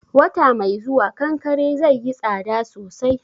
Wata mai zuwa, kankare zaiyi tsada sosai